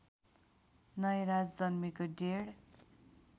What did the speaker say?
नयराज जन्मेको डेढ